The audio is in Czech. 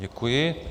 Děkuji.